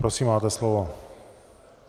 Prosím, máte slovo.